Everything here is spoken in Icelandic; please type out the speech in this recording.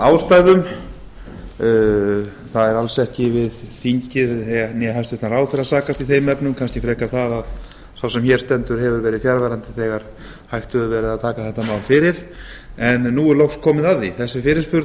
ástæðum það er alls ekki við þingið né hæstvirtur ráðherra að sakast í þeim efnum kannski frekar það að sá sem hér stendur hefur verið fjarverandi þegar hægt hefur verið að taka þetta mál fyrir en nú er loks komið að því þessi fyrirspurn